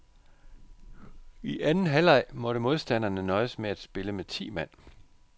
I anden halvleg måtte modstanderne nøjes med at spille med ti mand.